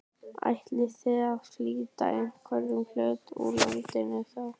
Ætlið þið að flytja einhvern hluta úr landi þá?